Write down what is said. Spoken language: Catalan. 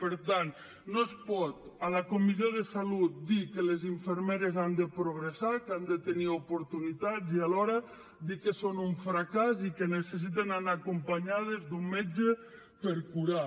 per tant no es pot a la comissió de salut dir que les infermeres han de progressar que han de tenir oportunitats i alhora dir que són un fracàs i que necessiten anar acompanyades d’un metge per curar